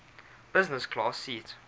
business class seat